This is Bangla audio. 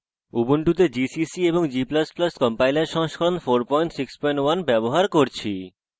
ubuntu gcc এবং g ++ compiler সংস্করণ 461 ব্যবহার করছি